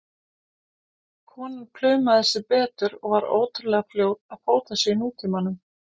Konan plumaði sig betur og var ótrúlega fljót að fóta sig í nútímanum.